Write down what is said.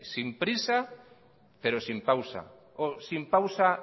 sin prisa pero sin pausa o sin pausa